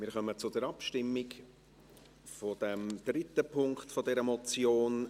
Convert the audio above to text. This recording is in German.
Wir kommen zur Abstimmung über den dritten Punkt dieser Motion.